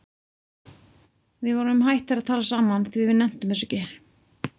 Við vorum hættir að tala saman því við nenntum þessu ekki.